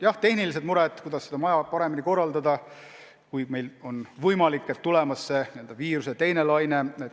Jah, tehnilised mured, kuidas tööd paremini korraldada, kui tuleb võimalik viiruse teine laine.